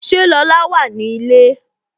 Ṣé Lola wà ní ilé?